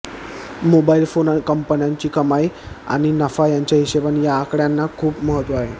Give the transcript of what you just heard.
mobile phone कंपन्यांची कमाई आणि नफा यांच्या हिशेबाने या आकड्यांना खूप महत्त्व आहे